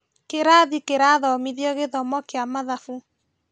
Kĩrathi kĩrathomithio gĩthomo kĩa mathabu